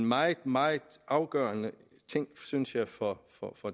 meget meget afgørende ting synes jeg for